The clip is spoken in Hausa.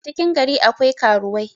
a cikin gari akwai karuwai